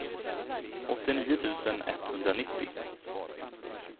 åttionio tusen etthundranittio